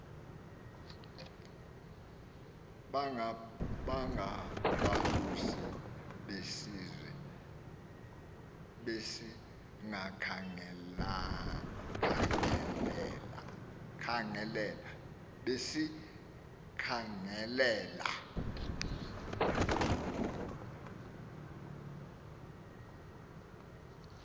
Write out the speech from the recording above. bangabalusi besizwe besikhangelela